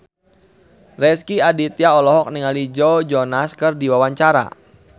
Rezky Aditya olohok ningali Joe Jonas keur diwawancara